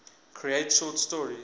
create short stories